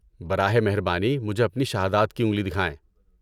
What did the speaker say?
براہ مہربانی، مجھے اپنی شہادات کی انگلی دکھائیں۔